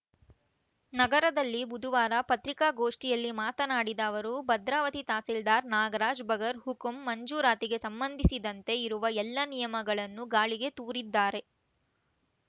ನಗರದಲ್ಲಿ ಬುಧವಾರ ಪತ್ರಿಕಾಗೋಷ್ಠಿಯಲ್ಲಿ ಮಾತನಾಡಿದ ಅವರು ಭದ್ರಾವತಿ ತಹಸೀಲ್ದಾರ್‌ ನಾಗರಾಜ್‌ ಬಗರ್‌ ಹುಕುಂ ಮಂಜೂರಾತಿಗೆ ಸಂಬಂಧಿಸಿದಂತೆ ಇರುವ ಎಲ್ಲಾ ನಿಯಮಗಳನ್ನು ಗಾಳಿಗೆ ತೂರಿದ್ದಾರೆ